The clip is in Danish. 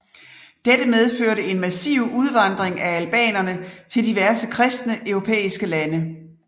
Dette medførte en massiv udvandring af albanere til diverse kristne europæiske lande